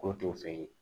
Ko t'o fɛ yen